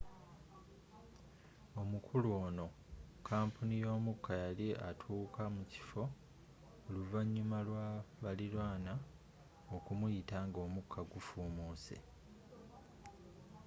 omukulu onu mu kampuni y'omuka yali atuuka mukiffo oluvanyuma lwa balilanwa okumuyita nga omukka gufuumuse